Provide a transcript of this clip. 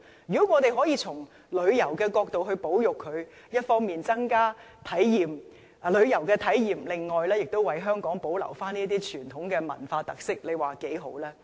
如果我們可以從旅遊角度加以保育，既可為旅客增加旅遊體驗，亦能為香港保留這些傳統文化特色，你說多好。